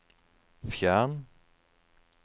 fjern